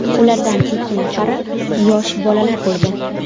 Ulardan ikki nafari yosh bolalar bo‘lgan.